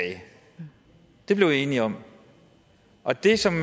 det blev vi enige om og det som